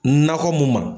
Nakɔ mun ma